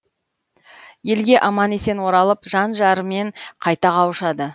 елге аман есен оралып жан жарымен қайта қауышады